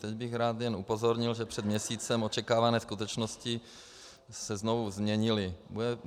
Teď bych jen rád upozornil, že před měsícem očekávané skutečnosti se znovu změnily.